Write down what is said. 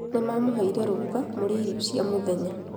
Nĩmamũheire rũtha mũrĩe irio cia mũthenya?